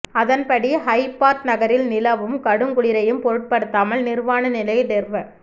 அதன்படி ஹொபார்ட் நகரின் நிலவும் கடுங்குளிரையும் பொருட்படுத்தாமல் நிர்வாண நிலையில் டெர்வ